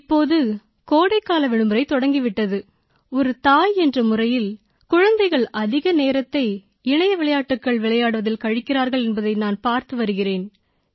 இப்போது கோடைக்கால விடுமுறை தொடங்கி விட்டது ஒரு தாய் என்ற முறையில் குழந்தைகள் அதிக நேரத்தை இணைய விளையாட்டுகள் விளையாடுவதில் கழிக்கிறார்கள் என்பதை நான் பார்த்து வருகிறேன்